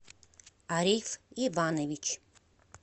ариф иванович